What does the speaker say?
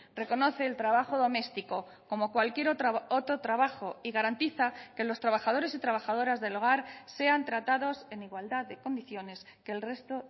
reconoce el trabajo doméstico como cualquier otro trabajo y garantiza que los trabajadores y trabajadoras del hogar sean tratados en igualdad de condiciones que el resto